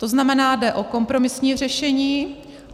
To znamená, jde o kompromisní řešení.